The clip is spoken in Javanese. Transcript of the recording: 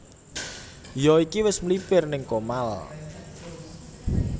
Iyo iki wis mlipir ning Comal